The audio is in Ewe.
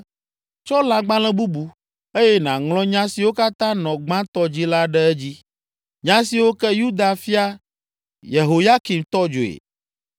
“Tsɔ lãgbalẽ bubu, eye nàŋlɔ nya siwo katã nɔ gbãtɔ dzi la ɖe edzi, nya siwo ke Yuda fia Yehoyakim tɔ dzoe.